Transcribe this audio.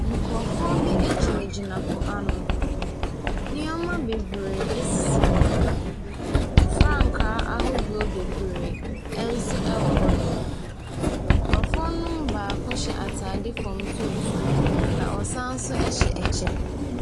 Nkrɔfoɔ bi gyinagyina po ano. Nneɛma bebree sisi hɔnom. Frankaa ahodoɔ bebree nso wɔ hɔnom. Nkrɔfoɔ no baako hyɛ ataade fam tuntum. Na ɔsan hyɛ kyɛ.